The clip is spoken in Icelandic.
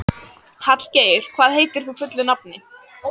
Hallgeir, hvað heitir þú fullu nafni?